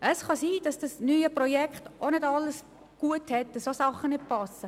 Es kann sein, dass das neue Projekt auch nicht ganz stimmig ist.